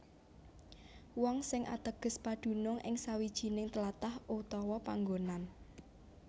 Wong sing ateges padunung ing sawijining tlatah utawa panggonan